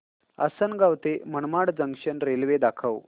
आसंनगाव ते Manmad junction railway दाखव